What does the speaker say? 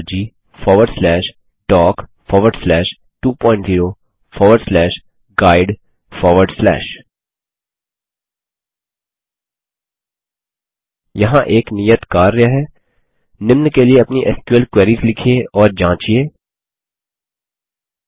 httpwwwhsqldborgdoc20guide यहाँ एक नियत कार्य है निम्न के लिए अपनी एसक्यूएल क्वेरीस लिखिये और जाँचिये 1